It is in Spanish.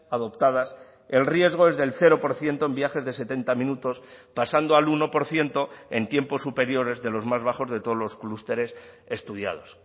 adoptadas el riesgo es del cero por ciento en viajes de setenta minutos pasando al uno por ciento en tiempos superiores de los más bajos de todos los clústeres estudiados